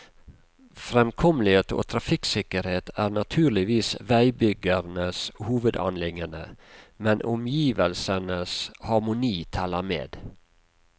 Fremkommelighet og trafikksikkerhet er naturligvis veibyggerens hovedanliggende, men omgivelsenes harmoni teller med.